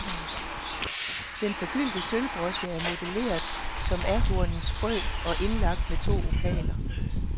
Den forgyldte sølvbroche er modelleret som ahornens frø og indlagt med to opaler.